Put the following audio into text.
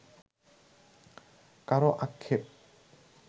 কারও আক্ষেপ